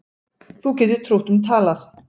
Þú getur trútt um talað